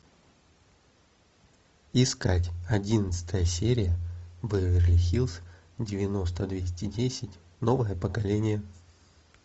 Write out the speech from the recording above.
искать одиннадцатая серия беверли хиллз девяносто двести десять новое поколение